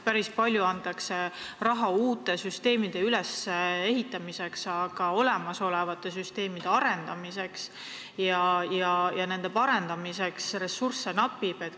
Päris palju antakse raha uute süsteemide ülesehitamiseks, aga olemasolevate süsteemide arendamiseks ja nende parandamiseks ressursse napib.